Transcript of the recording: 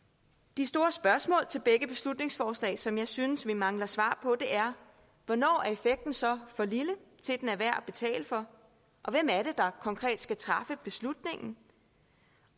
de store spørgsmål til begge beslutningsforslag som jeg synes vi mangler svar på er hvornår er effekten så for lille til at den er værd at betale for og hvem er det der konkret skal træffe beslutningen